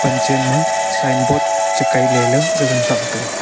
gachen ma sign board che kailey la gagan thram taiga.